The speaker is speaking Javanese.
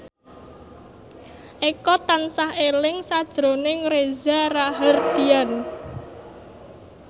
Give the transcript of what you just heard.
Eko tansah eling sakjroning Reza Rahardian